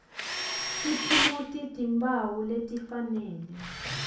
tiphumuti timphawu letifanele